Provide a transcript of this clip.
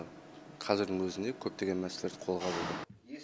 қазірдің өзінде көптеген мәселелерді қолға алуда